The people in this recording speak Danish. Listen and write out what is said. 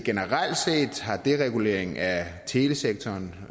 at dereguleringen af telesektoren